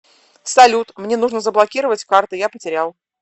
салют мне нужно заблокировать карты я потерял